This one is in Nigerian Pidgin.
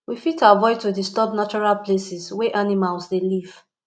we fit avoid to disturb natural places wey animals dey live